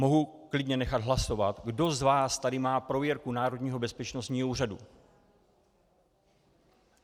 Mohu klidně nechat hlasovat, kdo z vás tady má prověrku Národního bezpečnostního úřadu.